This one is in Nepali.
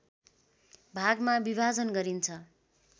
भागमा विभाजन गरिन्छ